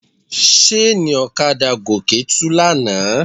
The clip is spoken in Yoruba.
Ṣéènì ọ̀kadà Gòkè tú lánàá.